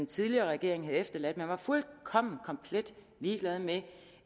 tidligere regering havde efterladt at man var fuldkommen komplet ligeglad med